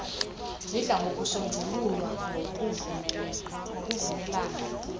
zidla ngokusonjululwa ngokuvumelana